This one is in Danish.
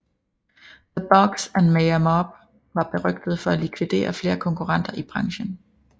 The Bugs and Meyer Mob var berygtede for at likvidere flere konkurrenter i branchen